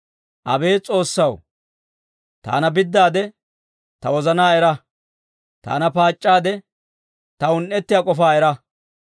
Abeet S'oossaw, taana biddaade, ta wozanaa era; taana paac'c'aade, ta un"etiyaa k'ofaa era.